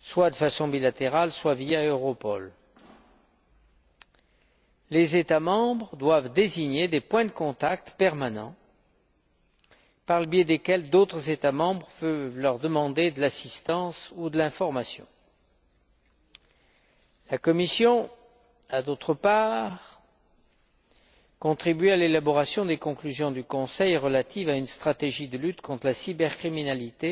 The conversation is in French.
soit de façon bilatérale, soit via Europol. Les États membres doivent désigner des points de contact permanents par le biais desquels d'autres États membres peuvent leur demander de l'assistance ou des informations. La Commission a, d'autre part, contribué à l'élaboration des conclusions du Conseil relatives à une stratégie de lutte contre la cybercriminalité,